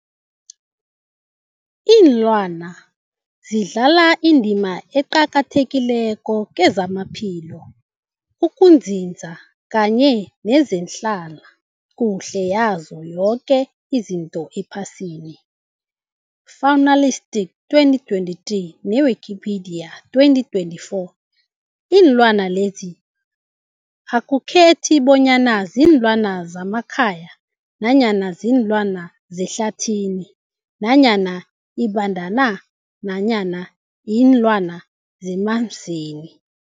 Ilwana zidlala indima eqakathekileko kezamaphilo, ukunzinza kanye nezehlala kuhle yazo zoke izinto ephasini, Fuanalytics 2023, ne-Wikipedia 2024, Iinlwana lezi akukhethi bonyana ziinlwana zemakhaya nanyana kuziinlwana zehlathini nanyana iimbandana nanyana iinlwana zemanzini.